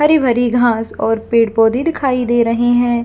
हरी -भरी घास और पेड़ -पौधे दिखाई दे रहे है।